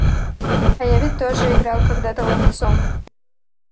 а я ведь тоже играл когда-то ловцом